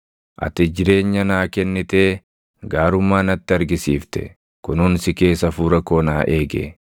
Ati jireenya naa kennitee gaarummaa natti argisiifte; kunuunsi kees hafuura koo naa eege.